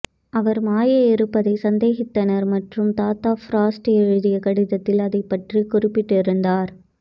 அவர் மாய இருப்பதை சந்தேகித்தனர் மற்றும் தாத்தா ஃப்ராஸ்ட் எழுதிய கடிதத்தில் அதைப் பற்றி குறிப்பிட்டிருந்தார்